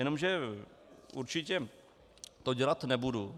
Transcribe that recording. Jenomže určitě to dělat nebudu.